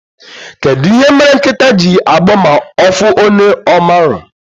Kedụ ihe mere nkịta ji agbọ ma ọfụ onye ọmarọ?